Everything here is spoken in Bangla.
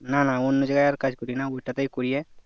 না না অন্য জাগায় আর কাজ করিনা ওটাতেই করি